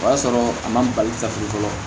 O y'a sɔrɔ a ma bali ka fili fɔlɔ